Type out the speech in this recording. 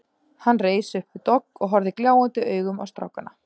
Hann reis upp við dogg og horfði gljáandi augum á strákana.